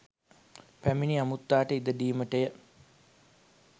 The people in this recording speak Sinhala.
පැමිණි අමුත්තාට ඉඩ දීමට ය.